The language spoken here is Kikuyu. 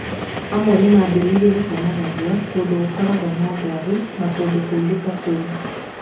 Amwe nĩ mambĩrĩirie gũcemanagia kũndũ gũkoragwo na ngari, na kũndũ kũngĩ ta kũu.